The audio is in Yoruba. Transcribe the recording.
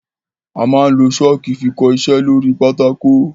Amá n lo Ṣọ́ọ́kì fi kọ iṣẹ́ lóri pátákó.